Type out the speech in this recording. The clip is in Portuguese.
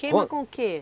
Queima com o que?